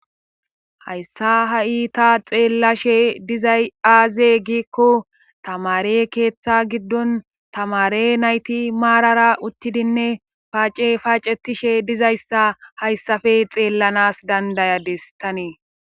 hayssa ha iita xeellashe dizay aaze giikko tamare keeththa giddon tamare nayti maarara uttidinne paace paacetishe dizayssa hayssafe xeellanas dandayades tanee